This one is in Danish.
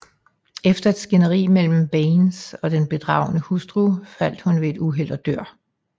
Efter et skænderi mellem Baines og den bedragede hustru falder hun ved et uheld og dør